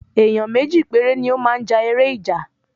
Èyán méjì péré ni o máa ja èrè ìjà